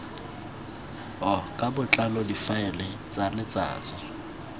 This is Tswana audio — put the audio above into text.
ka botlalo difaele tsa letsatsi